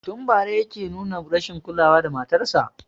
Tun bara yake nuna rashin kula wa matarsa